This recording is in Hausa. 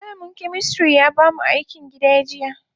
Malamin chemistry ya bamu akin gida jiya.